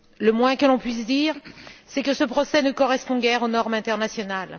Le moins que l'on puisse dire, c'est que ce procès ne correspond guère aux normes internationales.